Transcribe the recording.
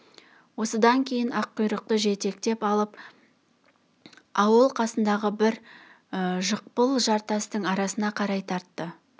осыдан кейін аққұйрықты жетектеп алып ауыл қасындағы бір жықпыл жартастың арасына қарай тартты